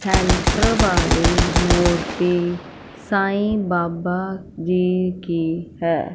Centre वाली मूर्ति साँई बाबा जी की है।